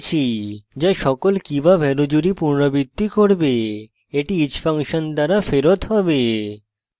সকল key/value জুড়ি পুনরাবৃত্তি করবে এটি each ফাংশন দ্বারা ফেরত হবে